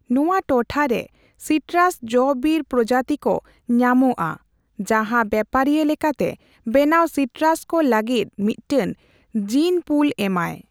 ᱱᱚᱣᱟ ᱴᱚᱴᱷᱟᱨᱮ ᱥᱤᱴᱨᱟᱥ ᱡᱚ ᱵᱤᱨ ᱯᱨᱚᱡᱟᱛᱤ ᱠᱚ ᱧᱟᱢᱚᱜᱼᱟ ᱡᱟᱦᱟᱸ ᱵᱮᱯᱟᱨᱤᱭᱟᱹ ᱞᱮᱠᱟᱛᱮ ᱵᱮᱱᱟᱣ ᱥᱤᱴᱨᱟᱥ ᱠᱚ ᱞᱟᱹᱜᱤᱫ ᱢᱤᱫᱴᱮᱱ ᱡᱤᱱᱼᱯᱩᱞ ᱮᱢᱟᱭ ᱾